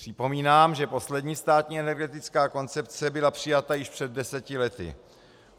Připomínám, že poslední státní energetická koncepce byla přijata již před deseti lety.